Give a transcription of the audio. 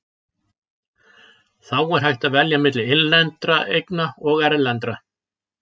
Þá er hægt að velja milli innlendra eigna og erlendra.